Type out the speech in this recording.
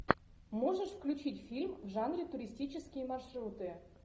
можешь включить фильм в жанре туристические маршруты